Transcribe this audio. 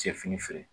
Cɛ fini feere